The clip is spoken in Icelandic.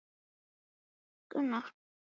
Ég hallaði mér upp að vegg út við glugga.